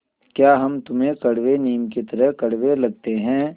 या हम तुम्हें कड़वे नीम की तरह कड़वे लगते हैं